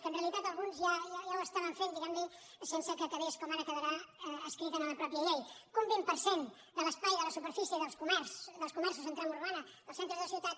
que en realitat alguns ja ho feien diguem ne sense que quedés com ara hi quedarà escrit en la mateixa llei que un vint per cent de l’espai de la superfície dels comerços en trama urbana dels centres de ciutat